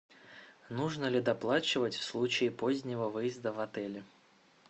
нужно ли доплачивать в случае позднего выезда в отеле